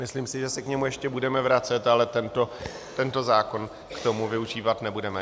Myslím si, že se k němu ještě budeme vracet, ale tento zákon k tomu využívat nebudeme.